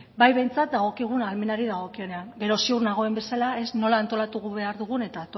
bai behintzat dagokigun ahalmenari dagokionean gero ziur nagoen bezala ez nola antolatu behar dugun eta